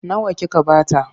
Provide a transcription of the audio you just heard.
Nawa kika ba ta?